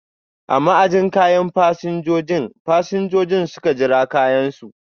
A ma'ajin kayan fasinjojin, fasinjojin suka jira kayan su.